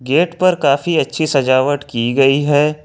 Gate पर काफी अच्छी सजावट की गई है।